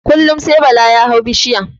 Kullum sai bala ya hau bishiya